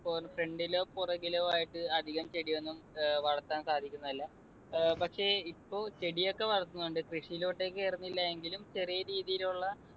front ലോ പുറകിലോ ആയിട്ട് അധികം ചെടിയൊന്നും ഏർ വളർത്താൻ സാധിക്കുന്നതല്ല. അഹ് പക്ഷെ ഇപ്പൊ ചെടിയൊക്കെ വളർത്തുന്നുണ്ട്. കൃഷിയിലോട്ടെക്ക് കേറുന്നില്ല എങ്കിലും ചെറിയ രീതിയിലുള്ള